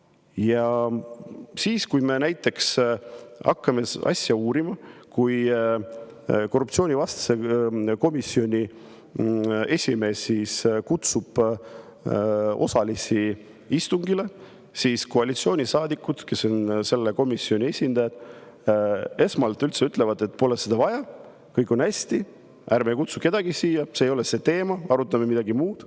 Ja siis, kui me hakkame asja uurima, kui korruptsioonivastase komisjoni esimees kutsub asjaosalisi istungile, siis koalitsioonisaadikud, kes on selle komisjoni, esmalt ütlevad, et seda pole vaja, kõik on hästi, ärme kutsume kedagi, see ei ole teema, arutame midagi muud.